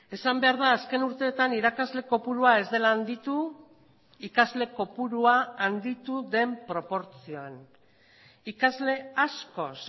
esan behar da azken urteetan irakasle kopurua ez dela handitu ikasle kopurua handitu den proportzioan ikasle askoz